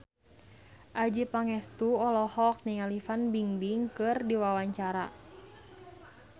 Adjie Pangestu olohok ningali Fan Bingbing keur diwawancara